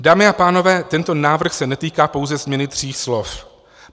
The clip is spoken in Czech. Dámy a pánové, tento návrh se netýká pouze změny tří slov.